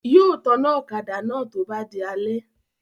Yóò taná ọ̀kadà náà tó bá di alẹ́